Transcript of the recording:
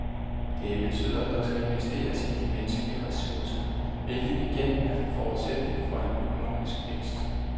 Det betyder, at der skal investeres i de menneskelige ressourcer, hvilket igen er forudsætning for en økonomisk vækst.